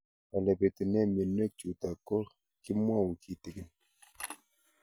Ole pitune mionwek chutok ko kimwau kitig'�n